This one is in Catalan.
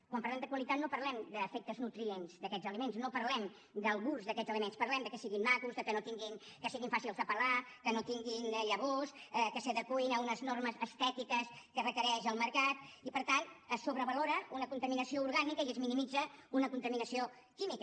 quan parlem de qualitat no parlem d’efectes nutrients d’aquestes aliments no parlem del gust d’aquests aliments parlem que siguin macos que siguin fàcils de pelar que no tinguin llavors que s’adeqüin a unes normes estètiques que requereix el mercat i per tant es sobrevalora una contaminació orgànica i es minimitza una contaminació química